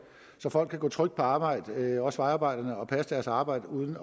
så folk kan gå trygt på arbejde også vejarbejderne og passe deres arbejde uden